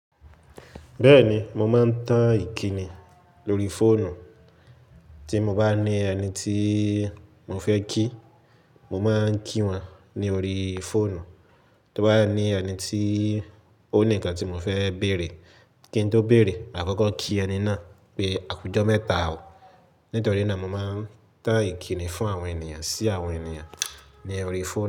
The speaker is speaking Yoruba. Bẹ́ẹ̀ni, mo máa ń tan ìkíni lóri fóònù. Tí mo bá ní ẹni tí mo fẹ́ kí, mo máa ń kí wọn ní orí fóònù. Tí ó bá ní ẹni tí ó ní ǹkan tí mo fẹ́ béèrè, kí n tó béèrè, màá kọ́kọ́ kí ẹni náà pé, "àkújọ mẹ́ta o". Nítorí náà mo máa ń tan ìkíni fún àwọn ènìyàn sí àwọn ènìyàn ní orí fóònù.